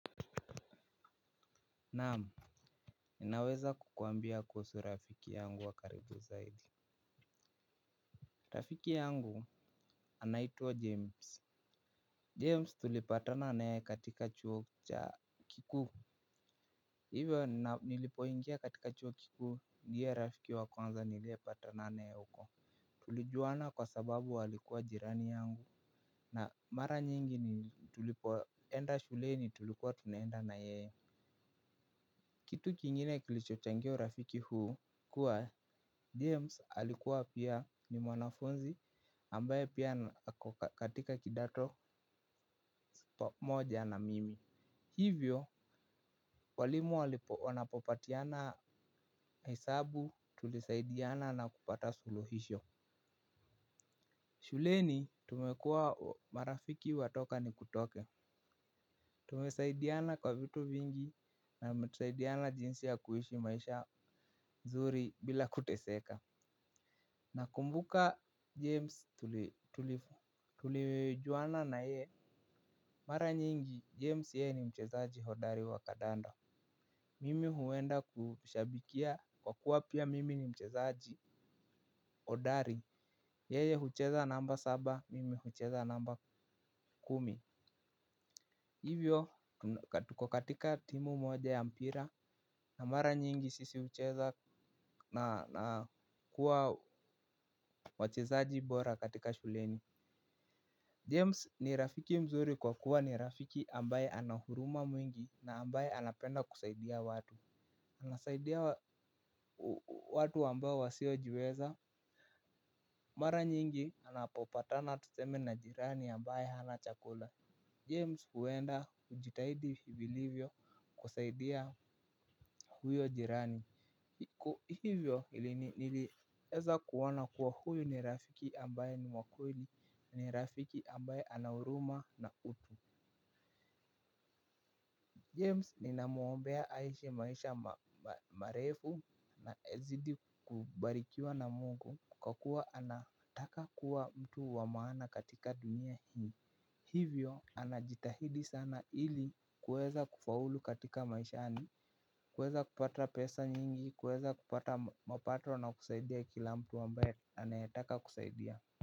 Naam, naweza kukuambia kuhusu rafiki yangu wa karibu zaidi. Rafiki yangu anaitwa James, James tulipatana na yeye katika chuo cha kikuu. Hivyo nilipoingia katika chuo kikuu ndiye rafiki wa kwanza niliyepatana naye huko. Tulijuana kwa sababu alikuwa jirani yangu na mara nyingi tulipoenda shuleni tulikuwa tunaenda na yeye. Kitu kingine kilichochangia urafiki huu kuwa James alikuwa pia ni mwanafunzi ambaye pia ako katika kidato moja na mimi. Hivyo walimu walipo wanapopatiana hesabu tulisaidiana na kupata suluhisho. Shuleni tumekuwa marafiki wa toka nikutoke. Tumesaidiana kwa vitu vingi na kusaidiana jinsi ya kuishi maisha nzuri bila kuteseka. Nakumbuka james tulijuana naye. Mara nyingi james ye ni mchezaji hodari wa kandanda. Mimi huenda kushabikia kwa kuwa pia mimi ni mchezaji hodari. Yeye hucheza namba saba mimi hucheza namba kumi. Hivyo tuko katika timu moja ya mpira na mara nyingi sisi hucheza na kuwa wachezaji bora katika shuleni James ni rafiki mzuri kwa kuwa ni rafiki ambaye anahuruma mwingi na ambaye anapenda kusaidia watu. Anasaidia watu ambao wasiojiweza. Mara nyingi anapopatana tuseme na jirani ambaye hana chakula James huenda kujitahidi vilivyo kusaidia huyo jirani. Hivyo ili nilieza kuona kuwa huyu ni rafiki ambaye ni wa kweli ni rafiki ambaye anahuruma na utu James ninamuombea aishi maisha marefu na azidi kubarikiwa na mungu kwa kuwa anataka kuwa mtu wa maana katika dunia hii. Hivyo anajitahidi sana ili kuweza kufaulu katika maishani. Kuweza kupata pesa nyingi, kuweza kupata mapato na kusaidia kila mtu ambaye anayetaka kusaidia.